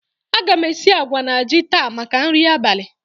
A ga m esi àgwà na ji taa maka nri abalị